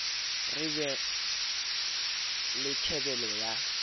re be le tjhebelo ya